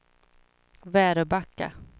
Väröbacka